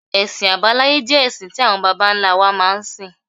Ẹ̀sìn abáláyé jẹ́ ẹ̀sìn tí àwọn bàbá ńlá wa máa ń sìn.